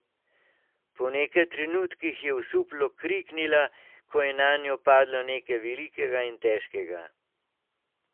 Po nekaj trenutkih je osuplo kriknila, ko je nanjo padlo nekaj velikega in težkega.